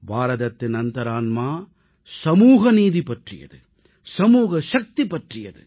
பாரதத்தின் அந்தரான்மா சமூகநீதி பற்றியது சமூக சக்தி பற்றியது